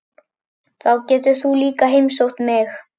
Þá getur þú líka heimsótt mig.